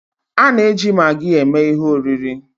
A na-eji Magi eme ihe oriri.